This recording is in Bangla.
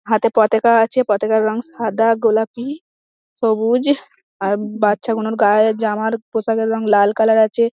হাতে পতাকা আছে পতাকার রং সাদা গোলাপি সবুজ আর বাচ্চাগুলোর গায়ে জামার পোশাকের রং লাল কালার আছে।